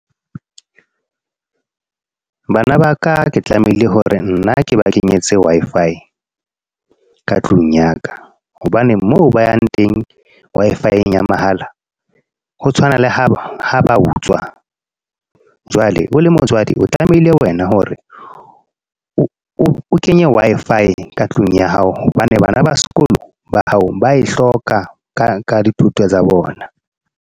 Bana ba ka, ke tlamehile hore nna ke ba kenyetse Wi-Fi ka tlung ya ka. Hobane moo ba yang teng Wi-Fi-eng ya mahala. Ho tshwana le ha ba utswa. Jwale o le motswadi, o tlamehile wena hore, o kenye Wi-Fi ka tlung ya hao. Hobane bana ba sekolo ba hao, ba e hloka ka ka dithuto tsa bona.